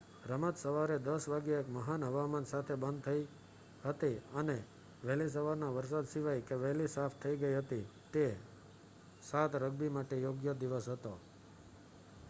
રમત સવારે 10:00 વાગ્યે એક મહાન હવામાન સાથે બંધ થઈ હતી અને વહેલી સવારના વરસાદ સિવાય કે વહેલી સાફ થઈ ગઈ હતી તે 7 રગ્બી માટે યોગ્ય દિવસ હતો